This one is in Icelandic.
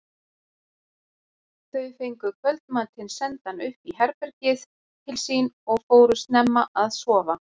Þau fengu kvöldmatinn sendan upp í herbergið til sín og fóru snemma að sofa.